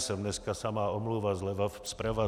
Jsem dneska samá omluva zleva, zprava.